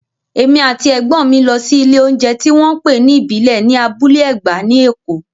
Èmi àti Ẹ̀gbọ́n mi lọ sí ilé oúnjẹ tí wọ́n ń pè ní ìbílẹ̀ ní Abúlé Ẹ̀gbá ní Èkó